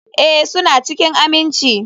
Ee, suna cikin aminci.